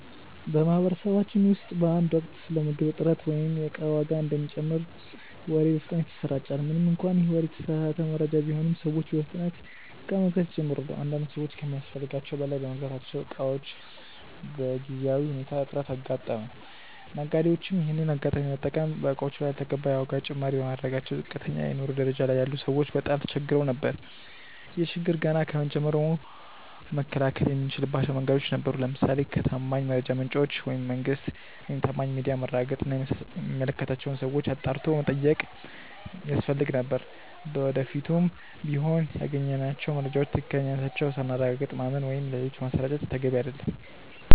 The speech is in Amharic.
በማህበረሰባችን ውስጥ በአንድ ወቅት ስለ ምግብ እጥረት ወይም የእቃ ዋጋ እንደሚጨምር ወሬ በፍጥነት ይሰራጫል። ምንም እንኳን ይህ ወሬ የተሳሳተ መረጃ ቢሆንም፤ ሰዎች በፍጥነት እቃ መግዛት ይጀምራሉ። አንዳንድ ሰዎች ከሚያስፈልጋቸው በላይ በመግዛታቸው የእቃዎች በጊዜያዊ ሁኔታ እጥረት አጋጠመ። ነጋዴዎችም ይሄንን አጋጣሚ በመጠቀም በእቃዎቹ ላይ ያልተገባ የዋጋ ጭማሪ በማድረጋቸው ዝቅተኛ የኑሮ ደረጃ ላይ ያሉ ሰዎች በጣም ተቸግረው ነበር። ይህን ችግር ገና ከጅምሩ መከላከል የምንችልባቸው መንገዶች ነበሩ። ለምሳሌ ከታማኝ የመረጃ ምንጮች (መንግስት፣ ታማኝ ሚዲያ)ማረጋገጥ እና የሚመለከታቸውን ሰዎች አጣርቶ መጠየቅ ያስፈልግ ነበር። ለወደፊቱም ቢሆን ያገኘናቸውን መረጃዎች ትክክለኛነታቸውን ሳናረጋግጥ ማመን ወይም ሌሎች ማሰራጨት ተገቢ አይደለም።